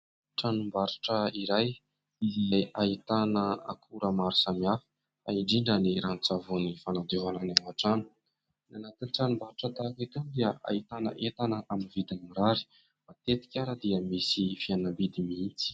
Tranombarotra iray izay ahitana akora maro samihafa fa indrindra ny ranon-tsavony fanadiovana ny ao an-trano. Anatin'ny tranom-barotra tahaka itony dia ahitana entana amin'ny vidiny mirary, matetika ary dia misy fihenam-bidy mihitsy.